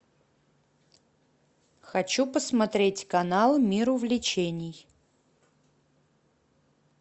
хочу посмотреть канал мир увлечений